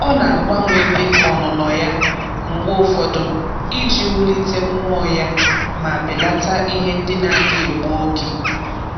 Ọ na-agbanwe ebe ọnụnọ ya mgbe ụfọdụ iji wulite mmụọ ya ma belata ihe ndị na-adị egbu oge.